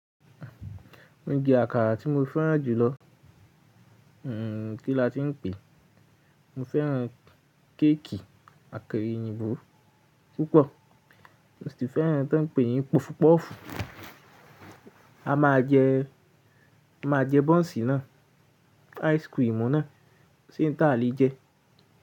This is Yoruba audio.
Ounjẹ àkàrà tí mo fẹ́ràn jùlọ. Ehn, kí la tí ń pè, mo fẹ́ràn kéèkì àkàrà èyìnbó púpọ̀. Mo sì tún fẹ́ràn tí wọ́n ń pè yín pọfupọ́ọ̀fù. A máa jẹ, a máa jẹ bọ́ǹsì náà, áìskìrimù náà, sí íńtà lè jẹ.